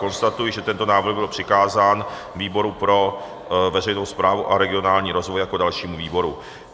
Konstatuji, že tento návrh byl přikázán výboru pro veřejnou správu a regionální rozvoj jako dalšímu výboru.